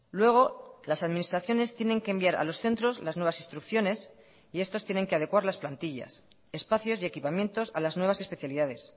luego las administraciones tienen que enviar a los centros las nuevas instrucciones y estos tienen que adecuar las plantillas espacios y equipamientos a las nuevas especialidades